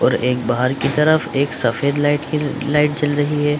और एक बाहर की तरफ एक सफ़ेद लाइट की लाइट जल रही है ।